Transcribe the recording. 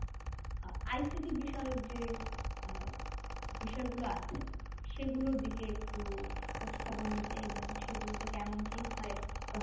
আ ICT বিষয়ক যে আ বিষয়গুলো আছে সেগুলোর দিকে একটু খোঁজ খবর নিতে এবং সেগুলোতে কেমন কি হয়?